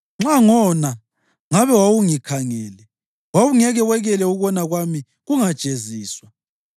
Nxa ngona, ngabe wawungikhangele wawungeke wekela ukona kwami kungajeziswa.